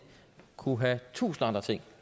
kunne have tusind andre ting